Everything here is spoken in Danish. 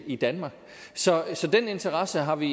i danmark så den interesse har vi